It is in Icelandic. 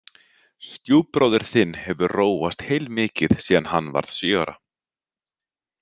Stjúpbróðir þinn hefur róast heilmikið síðan hann varð sjö ára